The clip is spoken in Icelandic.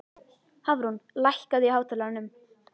Hafrún, lækkaðu í hátalaranum.